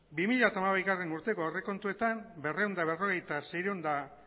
bi mila hamabigarrena urteko aurrekontuetan berrehun eta berrogei mila